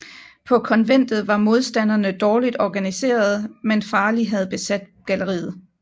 På konventet var modstanderne dårligt organiserede men Farley havde besat galleriet